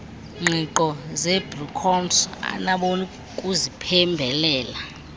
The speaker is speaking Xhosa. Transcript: ngqiqo zecbnrm abanokuziphembelela